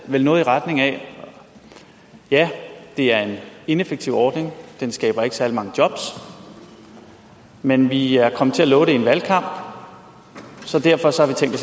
vel noget i retning af at ja det er en ineffektiv ordning den skaber ikke særlig mange jobs men vi er kommet til at love det i en valgkamp så derfor